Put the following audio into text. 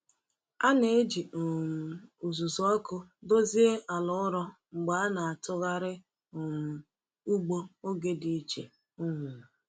A na-eji um uzuzu ọkụ dozie ala ụrọ mgbe a na-atụgharị um ugbo oge dị iche. um